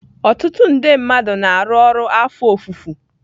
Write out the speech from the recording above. Ọtụtụ nde mmadụ na-arụ ọrụ afọ ofufo